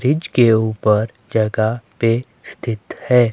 Bridge के ऊपर जगह पे स्थित है।